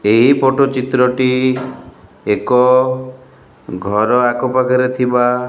ଏହି ଫୋଟ ଚିତ୍ରଟି ଏକ ଘର ଆଖପାଖରେ ଥିବା --